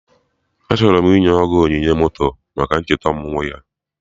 Achọrọ m inye Ogo onyinye moto maka ncheta ọmụmụ ya